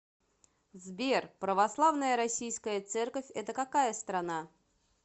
сбер православная российская церковь это какая страна